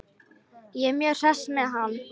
Ég er mjög hress með hann.